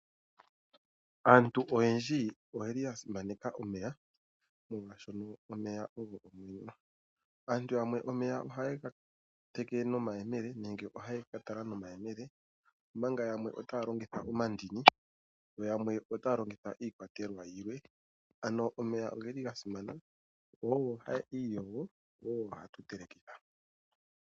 Aantu oyendji oya simaneka omeya, molwashoka omeya ogo omwenyo. Aantu yamwe omeya ohaye ga teke nomayemele nenge ohaye ke ga tala nomayemele, omanga yamwe otaya longitha omandini yo yamwe otaya longitha iikwatelwa yilwe. Omeya oga simana. Ogo haya iyogo, go ogo gatu telekitha.